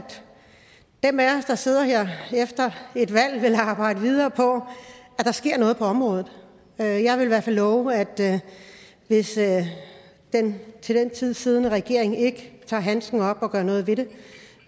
dem af os der sidder her efter et valg vil arbejde videre på at der sker noget på området jeg vil i hvert fald love at hvis den til den tid siddende regering ikke tager handsken op og gør noget ved det